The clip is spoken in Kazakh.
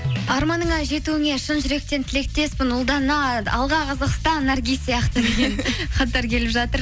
арманың жетуіңе шын жүректен тілектеспін ұлдана алға қазақстан наргиз сияқты хаттар келіп жатыр